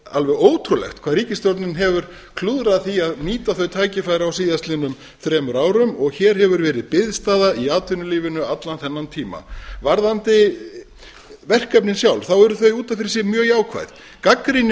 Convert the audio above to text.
alveg ótrúlegt hvað ríkisstjórnin hefur klúðrað því að nýta þau tækifæri á síðastliðnum þremur árum og hér hefur verið biðstaða í atvinnulífinu allan þennan tíma varðandi verkefnin sjálf þá eru þau út af fyrir sig mjög jákvæð gagnrýnin